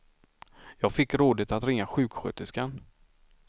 Jag fick rådet att ringa sjuksköterskan.